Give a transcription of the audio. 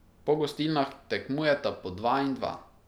Po gostilnah tekmujeta po dva in dva.